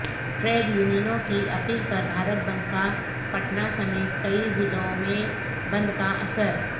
trade یونینوں کی اپیل پر بھارت بندکا پٹنہ سمیت کئی ضلعوں میں بند کا اثر